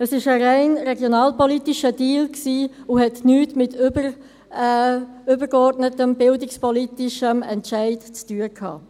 Es war ein rein regionalpolitischer Deal und hatte nichts mit übergeordneten, bildungspolitischen Entscheiden zu tun.